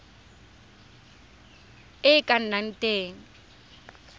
e e ka nnang teng